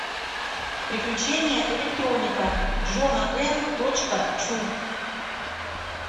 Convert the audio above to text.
приключения электроника джона м точка чу